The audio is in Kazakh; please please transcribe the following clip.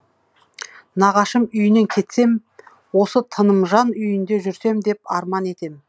нағашым үйінен кетсем осы тынымжан үйінде жүрсем деп арман етем